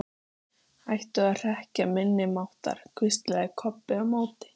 Hætta að hrekkja minni máttar, hvíslaði Kobbi á móti.